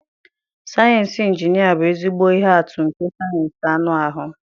Sayensị injinia bụ ezigbo ihe atụ nke sayensị anụ ahụ.